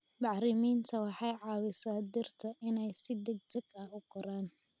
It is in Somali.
Bacriminta waxay caawisaa dhirta inay si degdeg ah u koraan.